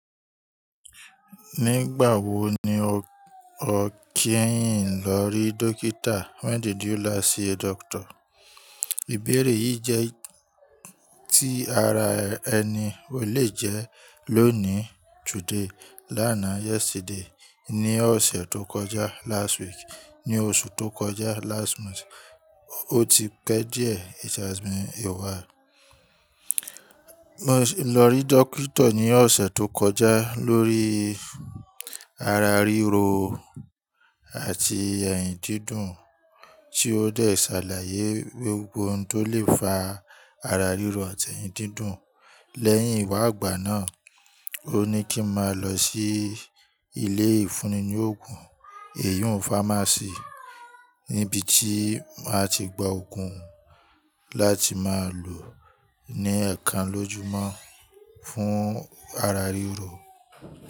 Nígbà wo ni o kí ẹ̀yin lọ rí Dókítà? When did you last see a doctor? Ìbéèrè yìí jẹ́ tí ara ẹni o le jẹ́ lónìí today, lánàá yesterday, ní ọ̀sẹ̀ tó kọjá last week, ní oṣù tó kọjá last month, ó ti pẹ́ díẹ̀ it has been a while. Mo lọ rí Doctor ní ọ̀sẹ̀ tó kọjá lórí ara ríro àti ẹ̀hìn dídùn tí ó dẹ ṣàlàyé gbogbo oun tó lè fa ara ríro àti ẹ̀hìn dídùn. Lẹ́yìn ìwà àgbà náà, ó ní kí n máa lọ sí ilé ìfúnni ní òògùn, èyìn un fámásì níbi tí màá ti gba òògùn láti máa lò ní ẹ̀ẹ̀kan lójúmọ́ fún ara ríro.